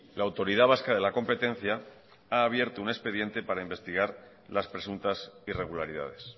la autoridad vasca de la competencia ha abierto un expediente para investigar las presuntas irregularidades